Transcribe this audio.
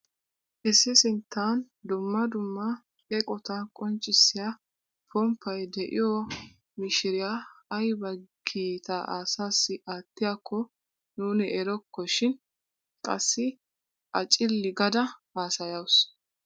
I sinttan dumma dumma eqotaa qonccisiyaa pomppay de'iyoo mishiriyaa ayba kiitaa asaassi aattiyaakko nuuni erokko shin qassi a cilli gaada hasayawus!